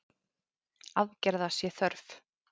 Aðgerða sé þörf.